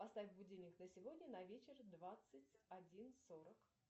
поставь будильник на сегодня на вечер двадцать один сорок